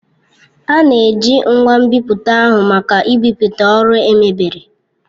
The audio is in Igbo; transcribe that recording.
A na-eji ngwa nbipute ahụ maka ibipụta ọrụ emebere.